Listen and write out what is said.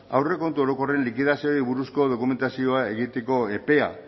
aurrekontu orokorren likidazioari buruzko dokumentazioa egiteko epea